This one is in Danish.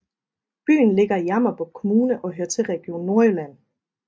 Byen ligger i Jammerbugt Kommune og hører til Region Nordjylland